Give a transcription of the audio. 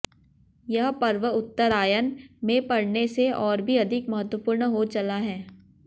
यह पर्व उत्तरायण में पड़ने से और भी अधिक महत्वपूर्ण हो चला है